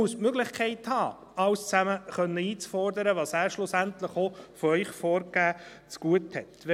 Er muss die Möglichkeit haben, alles zusammen einzufordern, was er, schlussendlich auch von ihnen vorgegeben, zugute hat.